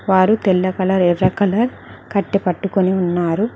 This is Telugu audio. వారు తెల్ల కలర్ ఎర్ర కలర్ కట్టి పట్టుకుని ఉన్నారు.